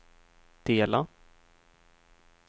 dela